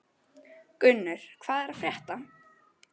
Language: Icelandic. Gunnur, hvað er að frétta?